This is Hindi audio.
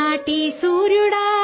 रेनाडू प्रांत के सूरज